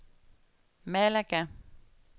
Malaga